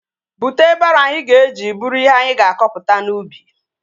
Bute baroo anyị ga-eji buru ihe anyị ga-akọpụta n'ubi